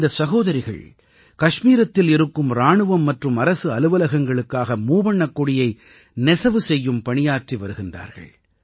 இந்தச் சகோதரிகள் கஷ்மீரத்தில் இருக்கும் இராணுவம் மற்றும் அரசு அலுவலகங்களுக்காக மூவண்ணக் கொடியை நெசவு செய்யும் பணியாற்றி வருகிறார்கள்